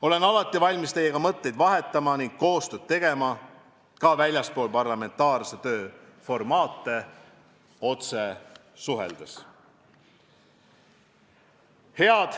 Olen alati valmis teiega mõtteid vahetama ning koostööd tegema ka väljaspool parlamentaarse töö formaate, otse suheldes.